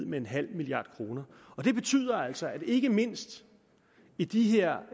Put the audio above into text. med en halv milliard kroner det betyder altså at der ikke mindst i de her